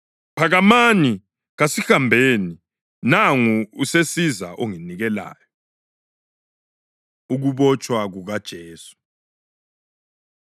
Phakamani! Kasihambeni! Nangu usesiza onginikelayo.” Ukubotshwa KukaJesu